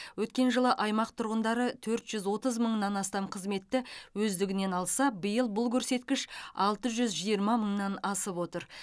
өткен жылы аймақ тұрғындары төрт жүз отыз мыңнан астам қызметті өздігінен алса биыл бұл көрсеткіш алты жүз жиырма мыңнан асып отыр